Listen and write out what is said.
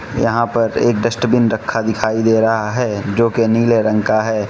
यहां पर एक डस्टबिन रखा दिखाई दे रहा है जोकि नीले रंग का है।